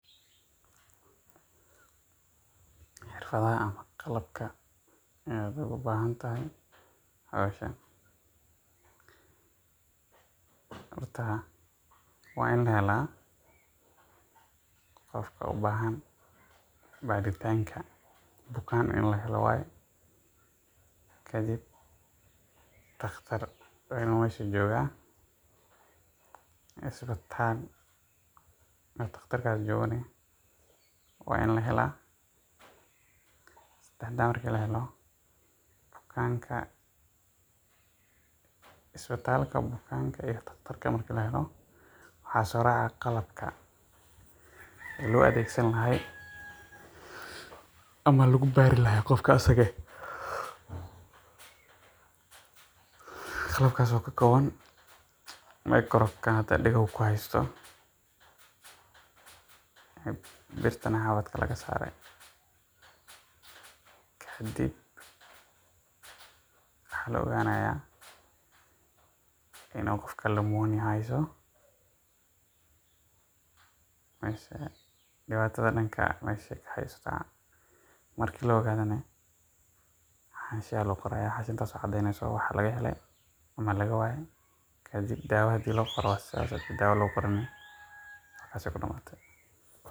Xirfadaha qalabka aad ugu bahan tahay howshan, horta waa in la helaa qofka ubahan baritanka, bukaan in la helo waye, kadib daqtar inuu meesha jooga, isbitaal uu daqtaarkaas joogo waa in la helaa, sadexdaas markaan helo isbitaalka, bukaanka iyo daqtarka, waxaa soo raaca qalabka loo adeegsan lahaa ama lagu baari lahaa bukaanka, qalabkaas oo ka kooban, birta xabadka laga saare, kadib waxaa la ogaanaya inuu qofka pneumonia hayso ama dibka meshu kajiro, marka la ogaadana xashi ayaa loo qoraya taas oo mujineyso waxa laga hele ama laga waye, marka daawa loo qorana saas ayeey kudamate.